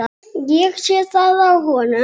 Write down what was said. Ég sé það á honum.